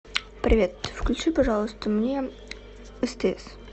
привет включи пожалуйста мне стс